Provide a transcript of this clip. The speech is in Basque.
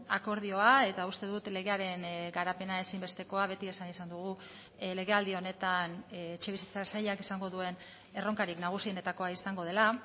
akordioa eta uste dut legearen garapena ezinbestekoa beti esan izan dugu legealdi honetan etxebizitza sailak izango duen erronkarik nagusienetakoa izango dela